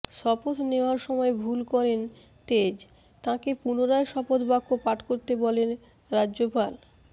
শপথ নেওয়ার সময় ভুল করেন তেজ তাঁকে পুনরায় শপথবাক্য পাঠ করতে বলেন রাজ্যপাল